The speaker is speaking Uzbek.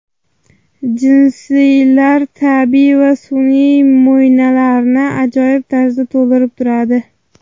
Jinsilar tabiiy va sun’iy mo‘ynalarni ajoyib tarzda to‘ldirib turadi.